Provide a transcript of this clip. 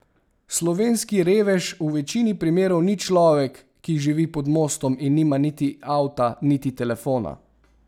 Slovenski revež v večini primerov ni človek, ki živi pod mostom in nima niti avta niti telefona.